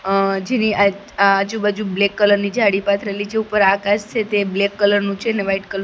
અહ જેની આજુ-બાજુ black colour ની જાડી પાથરેલી છે ઉપર આકાશ છે તે બ્લેક કલર નું છે ને વ્હાઈટ કલ --